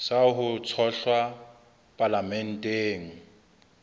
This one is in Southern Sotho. sa ho tshohlwa ka palamenteng